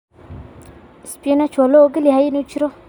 Spinach waa la oggol yahay inuu jiro.